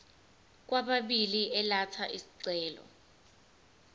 kwababili elatha isicelo